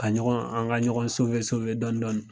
Ka ɲɔgɔn an ka ɲɔgɔn dɔni dɔni.